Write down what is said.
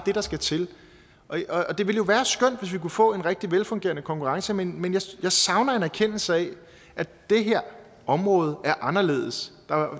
der skal til det ville jo være skønt hvis vi kunne få en rigtig velfungerende konkurrence men jeg savner en erkendelse af at det her område er anderledes